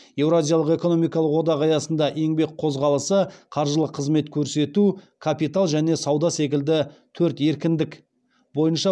еуразиялық экономикалық одақ аясында еңбек қозғалысы қаржылық қызмет көрсету капитал және сауда секілді төрт еркіндік бойынша